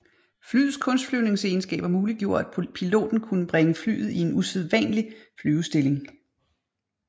Flyets kunstflyvningsegenskaber muliggjorde at piloten kunne bringe flyet i en usædvanelig flyvestilling